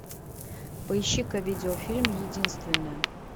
поищи ка видеофильм единственная